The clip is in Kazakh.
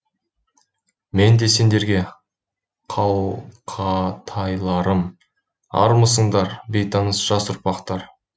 мен де сендерге қал қа тайларым армысыңдар бейтаныс жас ұрпақтар